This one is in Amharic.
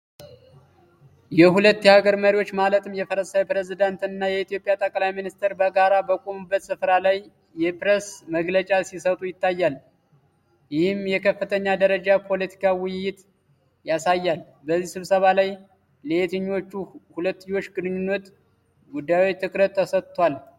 የሁለት አገራት መሪዎች ማለትም የፈረንሳይ ፕሬዚደንት እና የኢትዮጵያ ጠቅላይ ሚኒስትር በጋራ በቆሙበት ስፍራ ላይ የፕሬስ መግለጫ ሲሰጡ ይታያል። ይህም የከፍተኛ ደረጃ የፖለቲካ ውይይት ያሳያል። በዚህ ስብሰባ ላይ ለየትኞቹ የሁለትዮሽ ግንኙነት ጉዳዮች ትኩረት ተሰጥቷል?